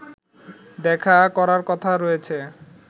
দেখা করার কথা রয়েছে